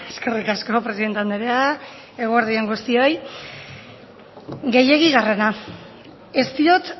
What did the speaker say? eskerrik asko presidente andrea eguerdi on guztioi gehiegigarrena ez diot